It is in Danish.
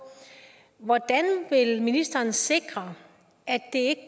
hvordan vil ministeren sikre at det